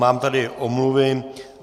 Mám tady omluvy.